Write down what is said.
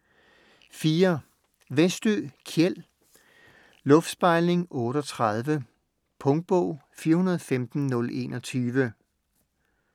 Westö, Kjell: Luftspejling 38 Punktbog 415021